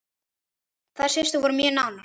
Þær systur voru mjög nánar.